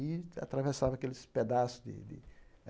E atravessava aqueles pedaços de de